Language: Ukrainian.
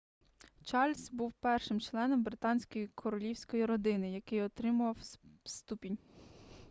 чарльз був першим членом британської королівської родини який отримав ступінь